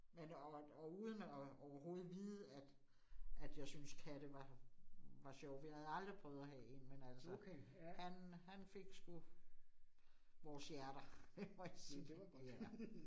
Men og og uden at overhovedet vide, at at jeg synes katte var var sjove, vi havde aldrig prøvet at have 1, men altså. Han han fik sgu vores hjerter det må jeg sige. Ja